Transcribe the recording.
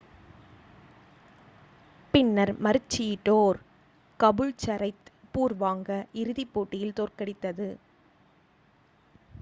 பின்னர் மருச்சிடோர் கபூல்சரைத் பூர்வாங்க இறுதிப் போட்டியில் தோற்கடித்தது